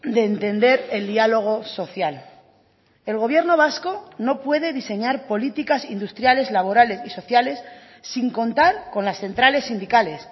de entender el diálogo social el gobierno vasco no puede diseñar políticas industriales laborales y sociales sin contar con las centrales sindicales